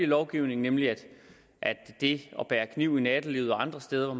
lovgivning nemlig at det at bære kniv i nattelivet og andre steder